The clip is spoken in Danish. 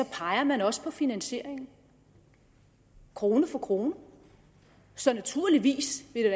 peger den også på finansieringen krone for krone så naturligvis vil